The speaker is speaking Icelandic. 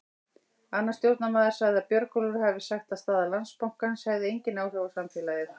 Annar stjórnarmaður sagði að Björgólfur hafi sagt að staða Landsbankans hefði engin áhrif á félagið.